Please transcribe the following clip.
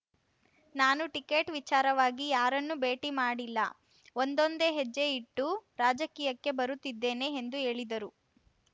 ನಾನು ಟಿಕೆಟ್ ವಿಚಾರವಾಗಿ ಯಾರನ್ನೂ ಭೇಟಿ ಮಾಡಿಲ್ಲ ಒಂದೊಂದೇ ಹೆಜ್ಜೆ ಇಟ್ಟು ರಾಜಕೀಯಕ್ಕೆ ಬರುತ್ತಿದ್ದೇನೆ ಎಂದು ಹೇಳಿದರು